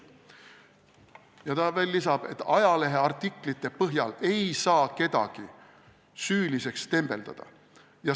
" Ta lisab veel, et ajaleheartiklite põhjal ei saa kedagi süüliseks tembeldada.